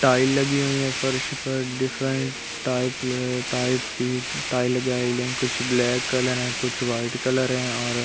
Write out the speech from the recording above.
tile लगी हुई है फर्श पर डिफरेंट टाइप टाइप की टाइल लगाई ले कुछ ब्लैक कलर है कुछ व्हाइट कलर है और --